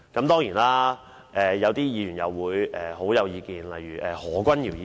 當然，有些議員對此有強烈意見，例如何君堯議員。